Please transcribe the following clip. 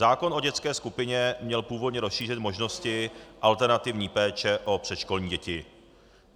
Zákon o dětské skupině měl původně rozšířit možnosti alternativní péče o předškolní děti.